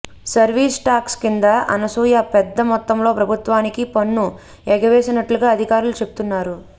service tax కింద అనసూయ పెద్ద మొత్తంలో ప్రభుత్వానికి పన్ను ఎగవేసినట్లుగా అధికారులు చెప్తున్నారు